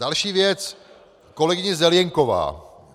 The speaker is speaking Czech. Další věc - kolegyně Zelienková.